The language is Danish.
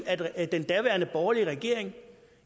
at at den daværende borgerlige regering